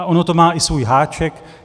A ono to má i svůj háček.